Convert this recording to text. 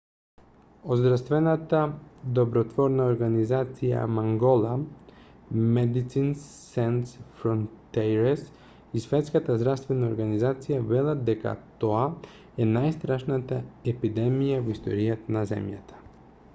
од здравствената добротворна организација мангола medecins sans frontieres и светската здравствена организација велат дека тоа е најстрашната епидемија во историјата на земјата